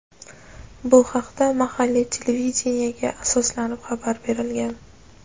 Bu haqda mahalliy televideniyega asoslanib xabar berilgan.